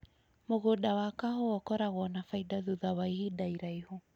Mũgũnda wa kahũa ũkoragwo na baida thutha wa ihinda iraihu